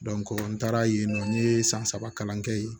n taara yen nɔ n ye san saba kalan kɛ yen